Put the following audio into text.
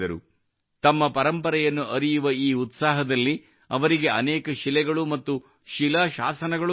ತಮ್ಮ ಪರಂಪರೆಯನ್ನು ಅರಿಯುವ ಈ ಉತ್ಸಾಹದಲ್ಲಿ ಅವರಿಗೆ ಅನೇಕ ಶಿಲೆಗಳು ಮತ್ತು ಶಿಲಾಶಾಸನಗಳು ದೊರೆತವು